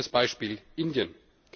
Nehmen wir das Beispiel Indien.